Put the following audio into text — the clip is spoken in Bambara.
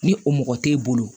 Ni o mɔgɔ t'e bolo